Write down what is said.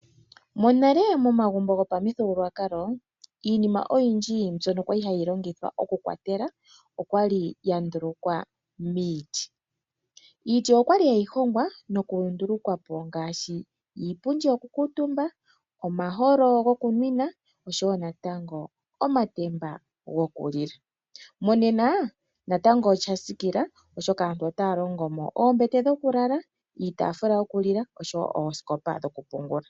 Monale momagumbo gopamuthigululwakalo iinima oyindji mbyoka kwali hayi longithwa okukwathela okwali yandulukwa miiti. Iiti okwali hayi hongwa nokunduluka po ngaashi iipundi yoku kuutumba, omaholo gokunwina oshowo natango oma gokulila. Monena natango osha tsikila oshoka aantu otaya longo mo oombete dhokulala, iitaafula yokulila oshowo oosikopa dhokupungulila.